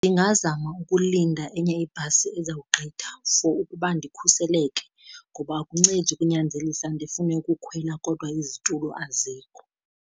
Ndingazama ukulinda enye ibhasi ezawugqitha for ukuba ndikhuseleke. Ngoba akuncedi ukunyanzelisa ndifune ukukhwela kodwa izitulo azikho.